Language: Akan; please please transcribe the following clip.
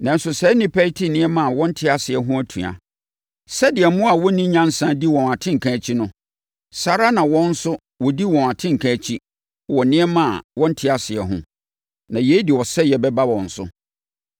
Nanso, saa nnipa yi te nneɛma a wɔnte aseɛ ho atua. Sɛdeɛ mmoa a wɔnni nyansa di wɔn atenka akyi no, saa ara na wɔn nso wɔdi wɔn atenka akyi wɔ nneɛma a wɔnte aseɛ ho, na yei de ɔsɛeɛ bɛba wɔn so.